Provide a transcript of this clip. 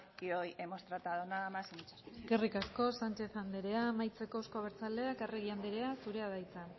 que hoy hemos tratado nada más y muchas gracias eskerrik asko sánchez andrea amaitzeko euzko abertzaleak arregi andrea zurea da hitza